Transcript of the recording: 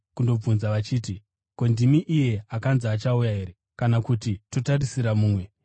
kundobvunza vachiti, “Ko, ndimi iye akanzi achauya here, kana kuti totarisira mumwe?”